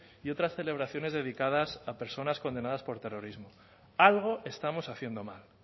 y otras celebraciones dedicadas a personas condenadas por terrorismo algo estamos haciendo mal